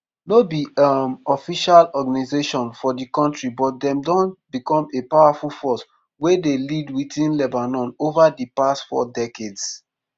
no be um official organisation for di kontri but dem don becom a powerful force wey dey lead within lebanon ova di past four decades.